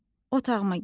Otağıma getdim.